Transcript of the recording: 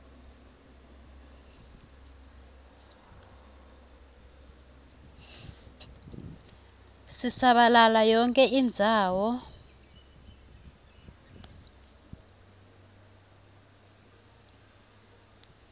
sisabalala yonkhe indzawo